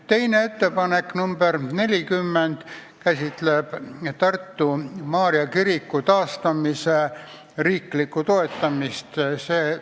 Teine ettepanek, nr 40, käsitleb Tartu Maarja kiriku taastamise riiklikku toetamist.